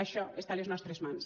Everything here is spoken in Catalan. això està a les nostres mans